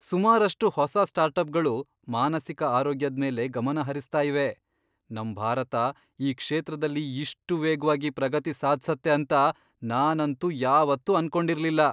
ಸುಮಾರಷ್ಟು ಹೊಸ ಸ್ಟಾರ್ಟಪ್ಗಳು ಮಾನಸಿಕ ಆರೋಗ್ಯದ್ಮೇಲೆ ಗಮನ ಹರಿಸ್ತಾ ಇವೆ! ನಮ್ ಭಾರತ ಈ ಕ್ಷೇತ್ರದಲ್ಲಿ ಇಷ್ಟು ವೇಗ್ವಾಗಿ ಪ್ರಗತಿ ಸಾಧ್ಸತ್ತೆ ಅಂತ ನಾನಂತೂ ಯಾವತ್ತೂ ಅನ್ಕೊಂಡಿರ್ಲಿಲ್ಲ.